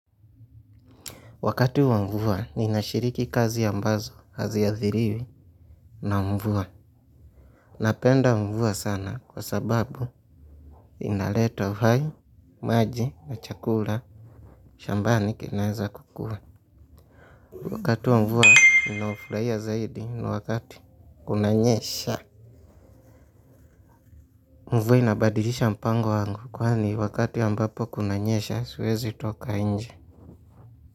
Wakati wa mvua nina shiriki kazi ambazo hazi athiriwi na mvua. Napenda mvua sana kwa sababu, inaleta vayu, maji, na chakula, shambani kinaweza kukua. Wakati wa mvua, ninaufurahia zaidi, wakati kunanyesha. Mvua inabadilisha mpango wangu, kwani wakati ambapo kunanyesha, siwezi toka nje.